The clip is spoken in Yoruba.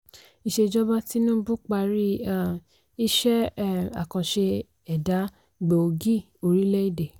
ìṣèjọba tinubu parí um iṣẹ́ um akànṣe ẹ̀dá gbòógì orílẹ̀ èdè.